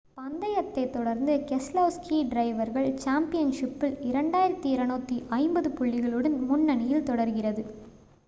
பந்தயத்தைத் தொடர்ந்து keselowski டிரைவர்கள் சாம்பியன்ஷிப்பில் 2,250 புள்ளிகளுடன் முன்னனியில் தொடர்கிறது